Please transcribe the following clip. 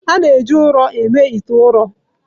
A na-eji ụrọ eme ite ụrọ.